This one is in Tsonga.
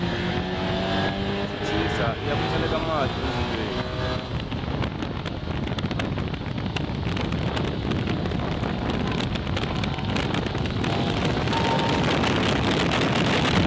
chechisa iya ku tseleka mati endzilweni